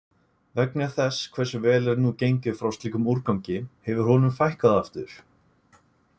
Vegna þess hversu vel er nú gengið frá slíkum úrgangi hefur honum fækkað aftur.